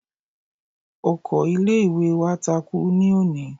Ọkọ ilé ìwé wa takú ní òní.